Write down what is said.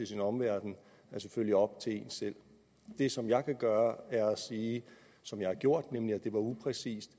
sin omverden er selvfølgelig op til en selv det som jeg kan gøre er at sige som jeg har gjort nemlig at det var upræcist